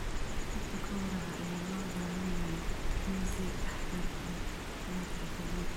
Habka gawraca ayaa loo baahan yahay in si taxadar leh loo tixgeliyo.